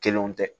Kelenw tɛ